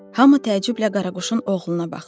Hamı təəccüblə qaraquşun oğluna baxır.